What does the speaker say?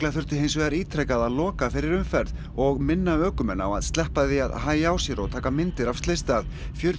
þurfti hins vegar ítrekað að loka fyrir umferð og minna ökumenn á að sleppa því að hægja á sér og taka myndir af slysstað fjörutíu